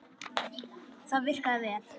Það virkaði vel.